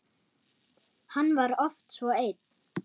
Hann var oft svo einn.